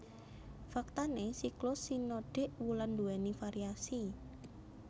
Faktané siklus sinodik wulan nduwèni variasi